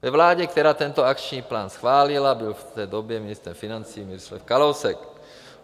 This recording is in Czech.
Ve vládě, která tento akční plán schválila, byl v té době ministrem financí Miroslav Kalousek.